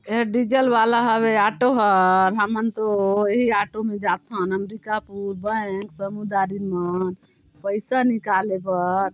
ए diesel वाला हवे auto हा हमन तो एही ऑटो मे जाथन अंबिकापुर बैंक समुदारिन मन पैसा निकाले बर।